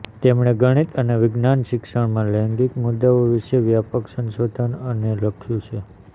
તેમણે ગણિત અને વિજ્ઞાન શિક્ષણમાં લૈંગિક મુદ્દાઓ વિશે વ્યાપક સંશોધન અને લખ્યું છે